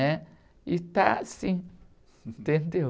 né? E está assim, entendeu?